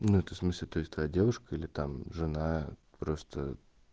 ну это в смысле то есть твоя девушка или там жена просто